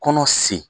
Kɔnɔ sen